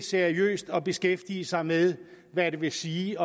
seriøst at beskæftige sig med hvad det vil sige